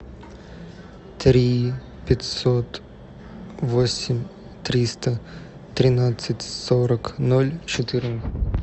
три пятьсот восемь триста тринадцать сорок ноль четырнадцать